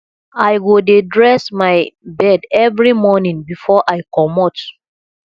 i go dey dress my bed every morning before i comot